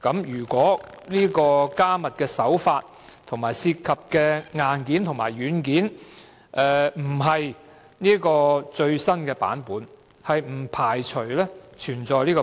如果加密手法和涉及的硬件和軟件並非最新版本，不排除存在保安漏洞。